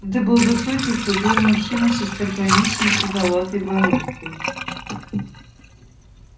это был высокий худой мужчина с остроконечной седоватой бородкой